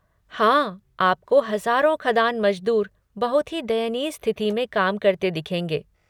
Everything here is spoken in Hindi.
हाँ, आपको हजारों खदान मजदूर बहुत ही दयनीय स्थिति में काम करते दिखेंगे।